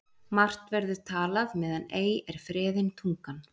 Margt verður talað meðan ei er freðin tungan.